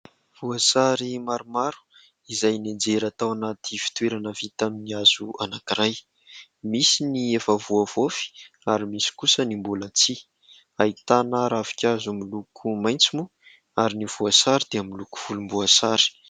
Voasary maromaro izay nianjera tao anaty fitoerana vita amin'ny hazo anankiray, misy ny efa voavofy ary misy kosa ny mbola tsy, ahitana ravinkazo miloko maitso moa ary ny voasary dia miloko volomboasary.